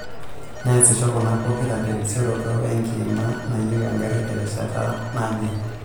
Neesisho kuna pokiraa terisiroto we ngimaa nayieu egari terishata najee.